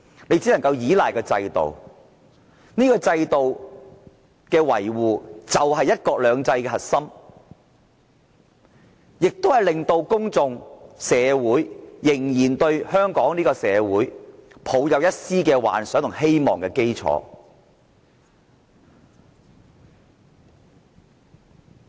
你只能夠依賴制度，維護這個制度，就是"一國兩制"的核心，亦是令到公眾、社會仍然對香港抱有一絲幻想和希望的基礎。